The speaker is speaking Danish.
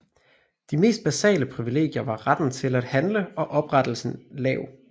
De mest basale privilegier var retten til at handle og oprettelse lav